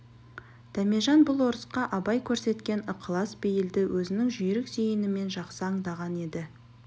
дәмежан бұл орысқа абай көрсеткен ықылас бейілді өзінің жүйрік зейінімен жақсы аңдаған еді